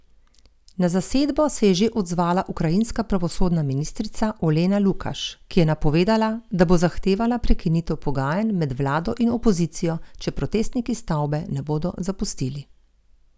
Na zasedbo se je že odzvala ukrajinska pravosodna ministrica Olena Lukaš, ki je napovedala, da bo zahtevala prekinitev pogajanj med vlado in opozicijo, če protestniki stavbe ne bodo zapustili.